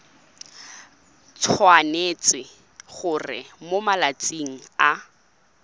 tshwanetse gore mo malatsing a